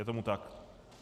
Je tomu tak.